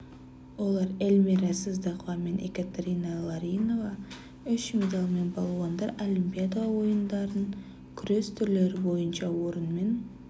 олар эльмира сыздықова мен екатерина ларионова үш медальмен балуандар олимпиада ойындарын күрес түрлері бойынша орынмен